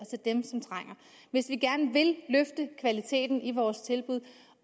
hvis vi gerne vil løfte kvaliteten i vores tilbud